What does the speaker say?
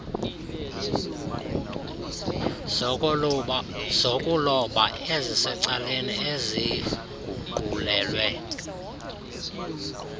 zokuloba ezisecaleni eziguqulelwe